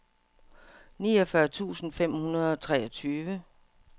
niogfyrre tusind fem hundrede og treogtyve